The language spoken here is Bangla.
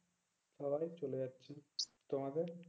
সবাইয়ের চলে যাচ্ছে। তোমাদের?